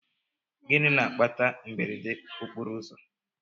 Gịnị na-akpata mberede okporoụzọ?